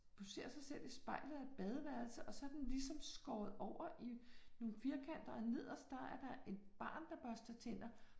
Hun ser sig selv i spejlet i et badeværelse og så er den ligesom skåret over i nogle firkanter og nederst, der er der et barn, der børster tænder